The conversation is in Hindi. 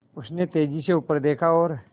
उसने तेज़ी से ऊपर देखा और